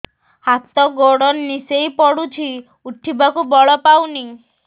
ହାତ ଗୋଡ ନିସେଇ ପଡୁଛି ଉଠିବାକୁ ବଳ ପାଉନି